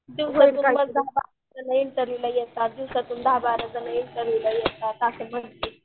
Interview ला येतात दिवसातून दहा बारा जण इंटरव्हिव्हला येतात. येतात असं म्हणती.